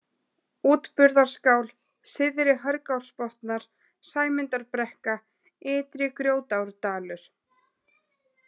Útburðarskál, Syðri-Hörgsárbotnar, Sæmundarbrekka, Ytri-Grjótárdalur